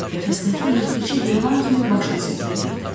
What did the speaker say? Qəfəsdəki yırtıcı heyvan kimi başını silkələyirdi.